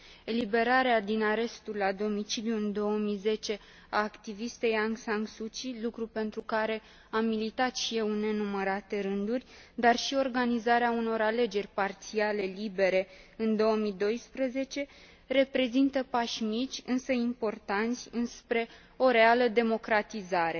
Eliberarea din arestul la domiciliu în 2010 a activistei Aung San Suu Kyi, lucru pentru care am militat și eu în nenumărate rânduri, dar și organizarea unor alegeri parțiale libere în 2012, reprezintă pași mici însă importanți înspre o reală democratizare.